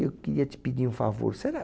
Eu queria te pedir um favor. Será